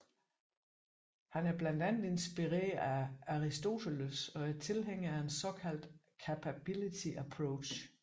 Han er blandt andet inspireret af Aristoteles og er tilhænger af en såkaldt capability approach